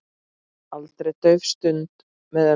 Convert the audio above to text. Aldrei dauf stund með ömmu.